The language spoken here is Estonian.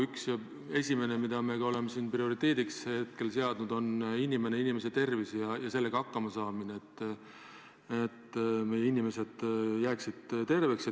Üks ja põhiline, mida me oleme prioriteediks pidanud, on inimeste tervis ja sellega hakkama saamine, et meie inimesed jääksid terveks.